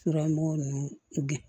Suramo ninnu bi